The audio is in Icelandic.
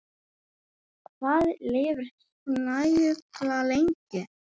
Hvað lifir snæugla lengi?